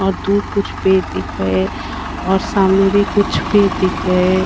और दूर कुछ पेड़ दिख रहे हैं और सामने भी कुछ पेड़ दिख रहे हैं।